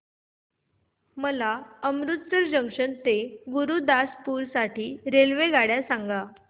मला अमृतसर जंक्शन ते गुरुदासपुर साठी रेल्वेगाड्या सांगा